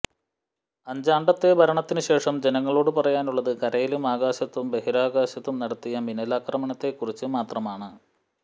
അഞ്ചാണ്ടത്തെ ഭരണത്തിന് ശേഷം ജനങ്ങളോട് പറയാനുള്ളത് കരയിലും ആകാശത്തും ബഹിരാകാശത്തും നടത്തിയ മിന്നലാക്രമണത്തെക്കുറിച്ച് മാത്രമാണ്